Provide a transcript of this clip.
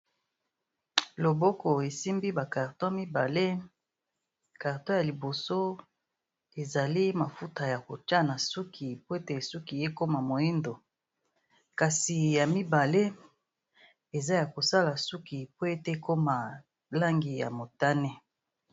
Loboko esimbi ba carton mibale. Carton ya liboso ezali mafuta ya kotia na suki po ete suki ekoma moyindo, kasi ya mibale eza ya kosala suki po ete ekoma langi ya motane.